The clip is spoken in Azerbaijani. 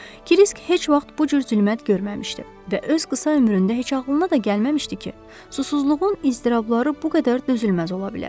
Kisk heç vaxt bu cür zülmət görməmişdi və öz qısa ömründə heç ağılına da gəlməmişdi ki, susuzluğun iztirabları bu qədər dözülməz ola bilər.